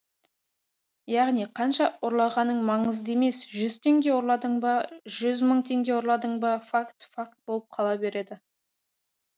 яғни қанша ұрлағаның маңызды емес жүз теңге ұрладың ба жүз мың теңге ұрладың ба факт факт болып қала береді